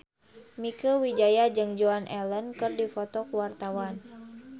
Mieke Wijaya jeung Joan Allen keur dipoto ku wartawan